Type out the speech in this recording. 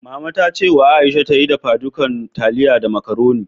Mama ta ce wa Aisha ta yi dafadukan taliya da macaroni.